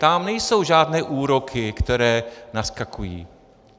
Tam nejsou žádné úroky, které naskakují.